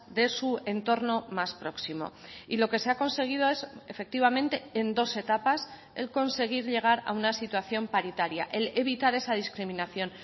de su entorno más próximo y lo que se ha conseguido es efectivamente en dos etapas el conseguir llegar a una situación paritaria el evitar esa discriminación